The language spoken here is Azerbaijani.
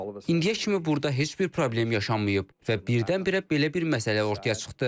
İndiyə kimi burda heç bir problem yaşanmayıb və birdən-birə belə bir məsələ ortaya çıxdı.